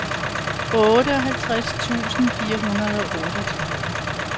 otteoghalvtreds tusind fire hundrede og otteogtredive